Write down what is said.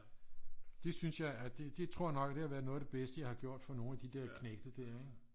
Det synes jeg at det tror jeg nok det har været noget af det bedste jeg har gjort for nogle af de der knægte ikke